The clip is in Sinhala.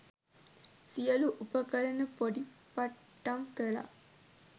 සියලු උපකරණ පොඩි පට්ටම් කළා